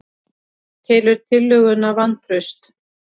Telur tillöguna vantraust